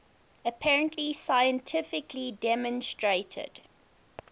apparently scientifically demonstrated